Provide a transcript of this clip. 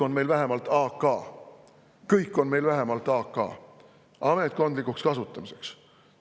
Meil on kõik vähemalt "AK" – ametkondlikuks kasutamiseks.